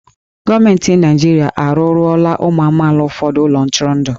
Gọọmenti Naịjirịa arụọlọla ụmụ amaala ụfọdụ ụlọ ntụrụndụ.